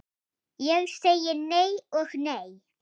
Ég segi nei og nei.